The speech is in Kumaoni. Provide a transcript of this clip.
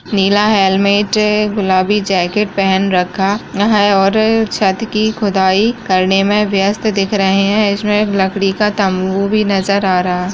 नीला हेलमेट गुलाबी जैकेट पहन रखा नहाया और छत्त की खुदाई करने में वयस्थ दिख रहे हैं इसमें लकड़ी का तम्बू भी नज़र आ रहा --